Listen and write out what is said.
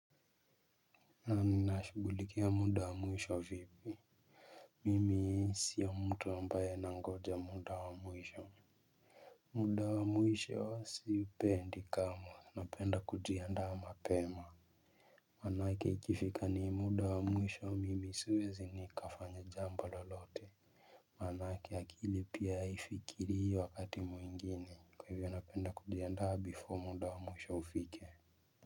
Naam nashughulikia muda wa mwisho vipi. Mimi siyo mtu ambaye nangoja muda wa mwisho muda wa mwisho siupendi kamwe napenda kujiandaa mapema. Manake ikifika ni muda wa mwisho mimi siwezi nikafanya jambo lolote. Manake akili pia haifikirii hii wakati mwingine kwa hivyo napenda kujiandaa before muda wa mwisho ufike.